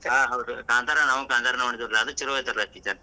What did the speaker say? ಹಾ ಹೌದು ಕಾಂತಾರ ನಾವೂ ಕಾಂತಾರನ ನೊಡಿದ್ವಿರ್ಲಾ ಅದು ಚುಲೊ ಐತಿರ್ಲಾ picture .